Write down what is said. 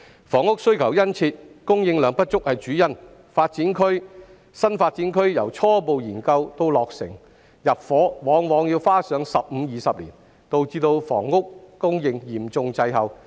房屋需求殷切，供應量不足是主因，新發展區由初步研究到落成入伙，往往要花上15年至20年，導致房屋供應嚴重滯後。